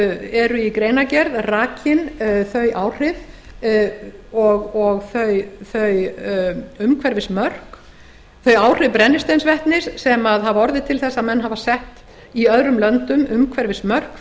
eru í greinargerð rakin þau áhrif brennisteinsvetnis sem hafa orðið til þess að menn hafa sett í öðrum löndum umhverfismörk